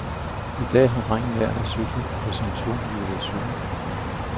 I dag har drengen lært at cykle på sin tohjulede cykel.